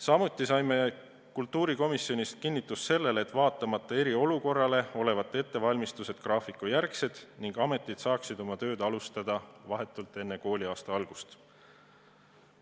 Samuti saime kultuurikomisjonis kinnitust sellele, et vaatamata eriolukorrale on ettevalmistused graafikujärgsed ning ametid saaksid oma tööd alustada vahetult enne kooliaasta algust.